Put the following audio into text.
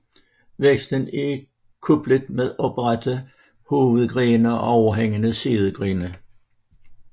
Væksten er kuplet med oprette hovedgrene og overhængende sidegrene